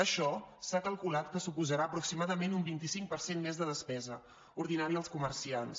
això s’ha calculat que suposarà aproximadament un vint cinc per cent més de despesa ordinària als comerciants